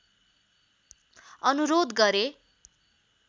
अनुरोध गरे